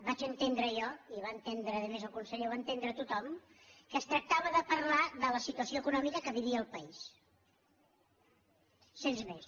vaig entendre jo i ho va entendre a més el conseller i ho va entendre tothom que es tractava de parlar de la situació econòmica que vivia el país sense més